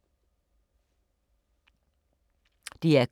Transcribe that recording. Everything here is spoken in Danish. DR K